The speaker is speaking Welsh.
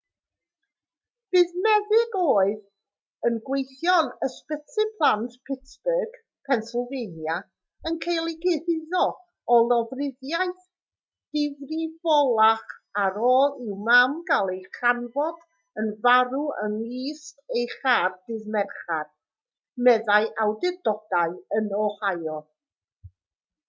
bydd meddyg oedd yn gweithio yn ysbyty plant pittsburgh pennsylvania yn cael ei gyhuddo o lofruddiaeth difrifolach ar ôl i'w mam gael ei chanfod yn farw yng nghist ei char ddydd mercher meddai awdurdodau yn ohio